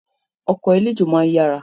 Ọkọ̀ eléjò máa ń yára